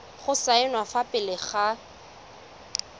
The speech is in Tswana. go saenwa fa pele ga